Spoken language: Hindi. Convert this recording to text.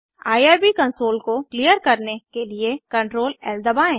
आईआरबी कंसोल को क्लियर करने के लिए ctrl Lदबाएँ